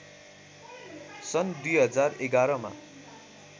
सन् २०११ मा